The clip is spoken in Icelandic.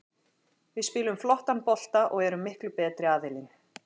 Við spilum flottan bolta og erum miklu betri aðilinn.